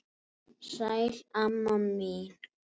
Sæl, amma mín.